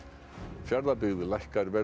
Fjarðabyggð lækkar verð á